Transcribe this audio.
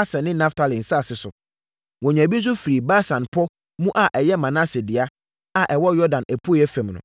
Aser ne Naftali nsase so. Wɔnyaa bi nso firii Basan pɔ mu a ɛyɛ Manase dea, a ɛwɔ Yordan apueeɛ fam no.